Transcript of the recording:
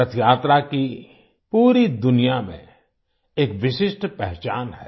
रथयात्रा की पूरी दुनिया में एक विशिष्ट पहचान है